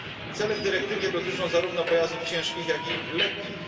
Cele w dyrektywie dotyczą zarówno pojazdów ciężkich, jak i lekkich.